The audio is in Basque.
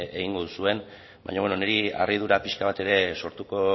egingo duzuen baina niri harridura pixka bat ere sortuko